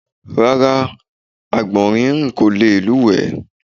Rara, Àgbọ̀nrín rín ko leè lúùwé